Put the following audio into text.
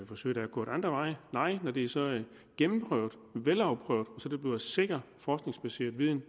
forsøg der er gået andre veje veje og når det er så gennemprøvet velafprøvet at sikker forskningsbaseret viden